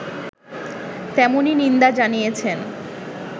তেমনই নিন্দা জানিয়েছে